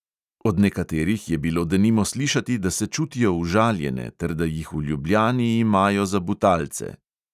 Od nekaterih je bilo denimo slišati, da se čutijo užaljene ter da jih v ljubljani imajo za butalce.